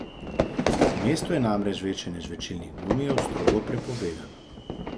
V mestu je namreč žvečenje žvečilnih gumijev strogo prepovedano.